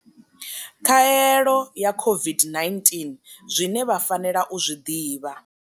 Khaelo ya COVID-19, Zwine vha fanela u zwi ḓivha.